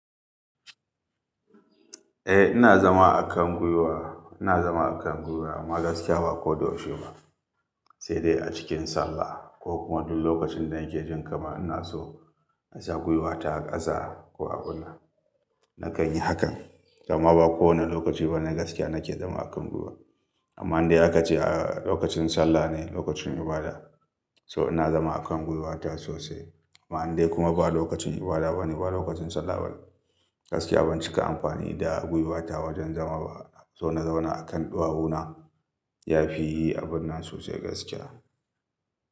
Eh ina zama a kan gwiwa, ina zama a kan gwiwa amma gaskiya ba ko doshi ba, sai dai a cikin sallah ko kuma duk lokacin da nake jin kama ina so in sa gwiwata a ƙasa ko a ɓula. Nakan yi hakan, amma ba kowane lokaci ba ne gaskiya nake zama a kan gwiwa. Amma in dai aka ce a lokacin sallah ne lokacin ibada, so ina zama a kan gwiwata sosai. Amma in dai kuma ba lokacin ibada ba ne ba lokacin sallah ba ne, gaskiya ban cika amfani da gwiwata wajen zama ba. So na zauna a kan ɗuwawu na, yafi yi abun nan sosai gaskiya.